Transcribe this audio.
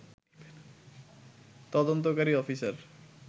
তদন্তকারী অফিসার